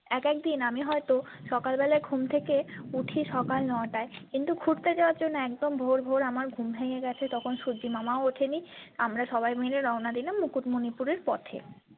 এক একদিন আমি হয়ত সকালবেলাই ঘুম থেকে উঠি সকাল নয় টায় কিন্তু ঘুরতে যাবার জন্য একদম ভোর ভোর আমার ঘুম ভেঙে গেছে তখন সূর্যি মামাও ওঠেনি আমরা সবাই মিলে রওনা দিলাম মুকুট মনিপুরের পথে।